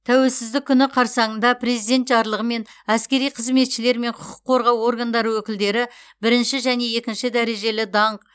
тәуелсіздік күні қарсаңында президент жарлығымен әскери қызметшілер мен құқық қорғау органдары өкілдері бірінші және екінші дәрежелі даңқ